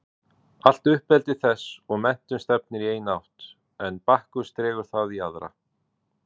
Allt uppeldi þess og menntun stefnir í eina átt en Bakkus dregur það í aðra.